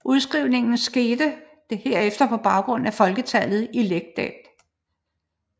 Udskrivningen skete herefter på baggrund af folketallet i lægdet